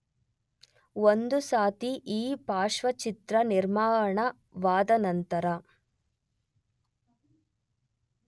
ಒಂದು ಸಾರ್ತಿ ಈ ಪಾರ್ಶ್ವಚಿತ್ರ ನಿರ್ಮಾಣವಾದ ನಂತರ